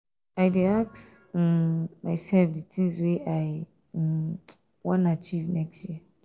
i dey ask um mysef di tins wey i um wan achieve next year.